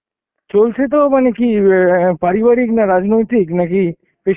চলছে তো মানে কি অ্যাঁ পারিবারিক, না রাজনৈতিক নাকি পেশা